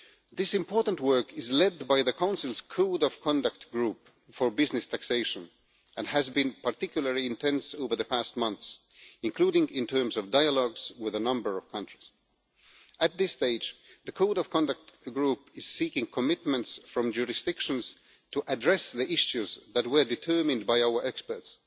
This important work is led by the Council's Code of Conduct Group for Business Taxation and has been particularly intense over the past months, including in terms of dialogues with a number of countries. At this stage the Code of Conduct Group is seeking commitments from jurisdictions to address the issues that were determined by our experts